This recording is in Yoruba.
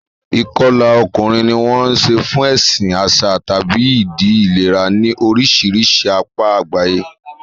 Ìkọlà ọkùnrin ni wọ́n ń ṣe fún ẹ̀sìn, àṣà, tàbí ìdí ìlera ní oríṣiríṣi apá àgbáyé.